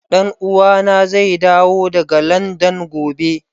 Dan uwa na zai dawo daga Landan gobe.